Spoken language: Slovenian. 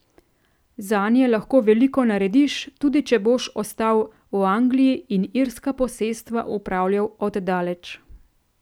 Zanje lahko veliko narediš, tudi če boš ostal v Angliji in irska posestva upravljal od daleč.